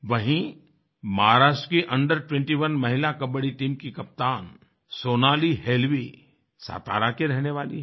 वहीं महाराष्ट्र की अंडर21 महिला कबड्डी टीम की कप्तान सोनाली हेलवी सतारा की रहने वाली है